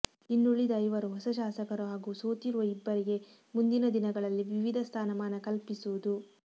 ಇನ್ನುಳಿದ ಐವರು ಹೊಸ ಶಾಸಕರು ಹಾಗೂ ಸೋತಿರುವ ಇಬ್ಬರಿಗೆ ಮುಂದಿನ ದಿನಗಳಲ್ಲಿ ವಿವಿಧ ಸ್ಥಾನಮಾನ ಕಲ್ಪಿಸುವುದು